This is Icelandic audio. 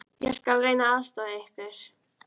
Ég skal reyna að aðstoða ykkur.